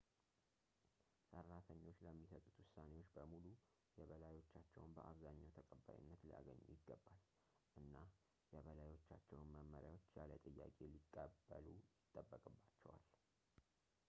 ሰራተኞች ለሚሰጡት ውሳኔዎች በሙሉ የበላዮቻቸውን በአብዝኛው ተቀባይነት ሊያገኙ ይገባል እና የበላዮቻቸውን መመሪያዎች ያለ ጥያቄ ሊቀበሉ ይጠበቅባቸዋል